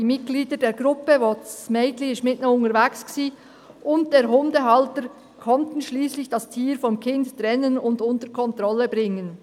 Die Mitglieder der Gruppe», mit welcher das Mädchen unterwegs war, «und der Hundehalter konnten schliesslich das Tier vom Kind trennen und unter Kontrolle bringen.